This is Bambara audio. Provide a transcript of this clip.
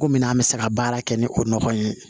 Ko minan an bɛ se ka baara kɛ ni o nɔgɔ ye